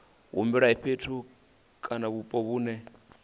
humbele fhethu kana vhupo vhune